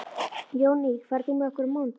Jónný, ferð þú með okkur á mánudaginn?